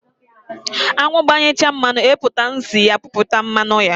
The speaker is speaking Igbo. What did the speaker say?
Anwụ gbanyechaa mmanụ, eweputa nsị ya piputa mmanụ ya.